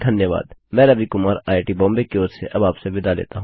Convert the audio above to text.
मैं रवि कुमार आईआईटीबॉम्बे की ओर अब आपसे विदा लेता हूँ धन्यवाद